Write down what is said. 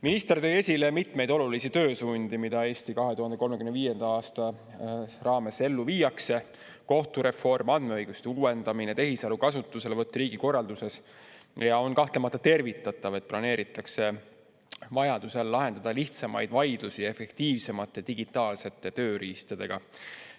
Minister tõi esile mitmeid olulisi töösuundi, mida "Eesti 2035" raames ellu viiakse – kohtureform, andmeõiguste uuendamine, tehisaru kasutuselevõtt riigikorralduses –, ja on kahtlemata tervitatav, et planeeritakse vajadusel lahendada lihtsamaid vaidlusi efektiivsemate digitaalsete tööriistadega.